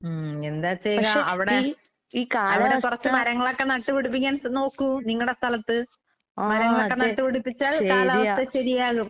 ഉം എന്താ ചെയ്യാ അവടെ അവടെ കൊറച്ച് മരങ്ങളൊക്കെ നട്ട് പിടിപ്പിക്കാൻ ശ് നോക്കൂ നിങ്ങടെ സ്ഥലത്ത്. മരങ്ങളൊക്കെ നട്ട് പിടിപ്പിച്ചാൽ കാലാവസ്ഥ ശെരിയാകും.